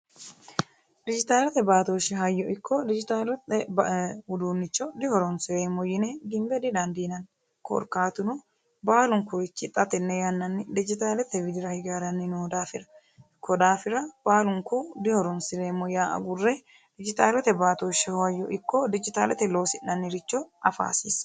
Dijitaalete hayyo ikko dijitaalete uduuncho dihoronsireemmo yine gimbe didaandiinanni korkaatuno baalunkurichi dijitaalete widira hige haranni noo daafira koyi daafira baalunku dihoronsireemmo yaa agurre dijitaalete baattoshe ikko dijitaalete loosi'nanniricho afa hasiisano.